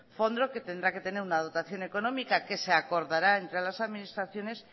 fondo que tendrá que tener una dotación económica que se acordará entre las administraciones